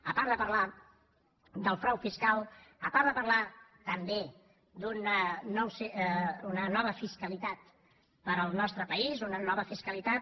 a part de parlar del frau fiscal a part de parlar també d’una nova fiscalitat per al nostre país una nova fiscalitat